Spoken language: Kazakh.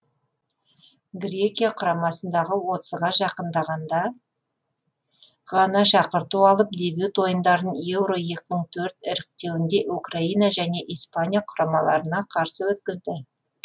грекия құрамасындағы отызға жақындағанда ғана шақырту алып дебют ойындарын еуро екі мың төрт іріктеуінде украина және испания құрамаларына қарсы өткізді